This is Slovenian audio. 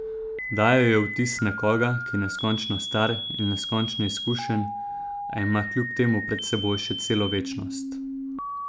Dajal je vtis nekoga, ki je neskončno star in neskončno izkušen, a ima kljub temu pred seboj še celo večnost.